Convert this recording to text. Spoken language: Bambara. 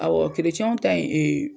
Awɔ w ta in